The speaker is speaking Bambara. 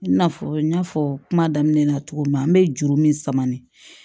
I n'a fɔ n y'a fɔ kuma daminɛ na cogo min na an bɛ juru min samani